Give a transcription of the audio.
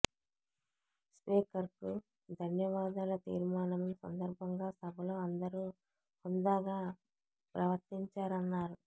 స్పీకర్కు ధన్యవాదాల తీర్మానం సందర్భంగా సభలో అందరూ హుందాగా ప్రవర్తించారన్నారు